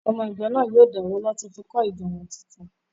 Ọmọ ìjọ náà yóò dáwó láti fi kọ́ ìjọ wọn tuntun